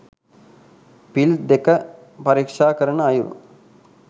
පිල් දෙක පරීක්‍ෂා කරන අයුරු